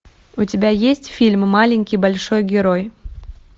у тебя есть фильм маленький большой герой